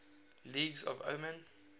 languages of oman